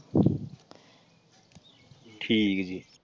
ਠੀਕ ਜੀ।